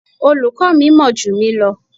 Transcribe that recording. Olùkọ́ mi mọ̀ jù mí lọ.